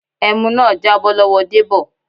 ẹmu náà jábọ́ lọ́wọ Debo.